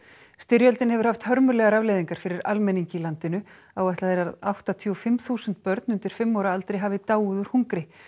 styrjöldin hefur haft hörmulegar afleiðingar fyrir almenning í landinu áætlað er að áttatíu og fimm þúsund börn undir fimm ára aldri hafi dáið úr hungri